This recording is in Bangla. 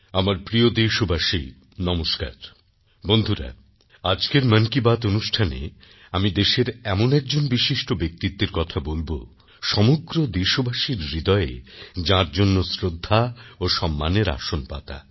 আমারপ্রিয়দেশবাসী নমস্কার বন্ধুরা আজকের মন কি বাত অনুষ্ঠানে আমি দেশের এমন একজন বিশিষ্ট ব্যক্তিত্বের কথা বলব সমগ্র দেশবাসীর হৃদয়ে যাঁর জন্য শ্রদ্ধা ও সম্মানের আসন পাতা